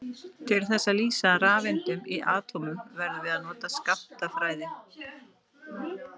Til þess að lýsa rafeindum í atómum verðum við að nota skammtafræði.